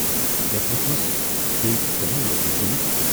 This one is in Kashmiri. مے پرژھمَس بییہِ زِ ژے ما لوگُے کُنہِ۔